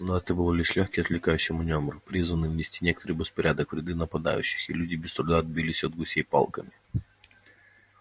но это был лишь лёгкий отвлекающий манёвр призванный внести некоторый беспорядок в ряды нападающих и люди без труда отбились от гусей палками